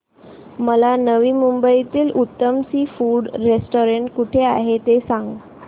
मला नवी मुंबईतलं उत्तम सी फूड रेस्टोरंट कुठे आहे ते सांग